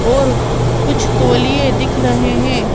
और कुछ तोलिए दिख रहे हैं।